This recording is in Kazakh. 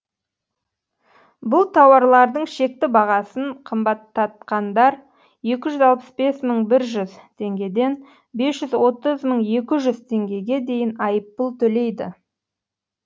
бұл тауарлардың шекті бағасын қымбаттатқандар екі жүз алпыс бес мың жүз теңгеден бес жүз отыз мың екі жүз теңгеге дейін айыппұл төлейді